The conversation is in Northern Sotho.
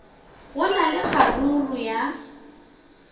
go na le kgaruru ya